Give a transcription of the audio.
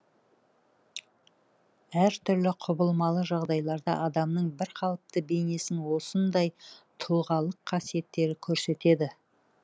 әр түрлі құбылмалы жағдайларда адамның бір қалыпты бейнесін осындай тұлғалық қасиеттері көрсетеді